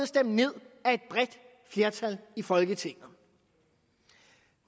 stemt ned af et bredt flertal i folketinget